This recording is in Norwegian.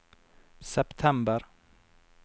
september